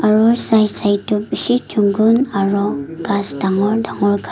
aro side side toh beshi chungkol aro kas tangore tangore ka.